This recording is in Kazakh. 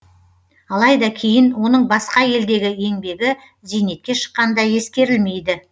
алайда кейін оның басқа елдегі еңбегі зейнетке шыққанда ескерілмейді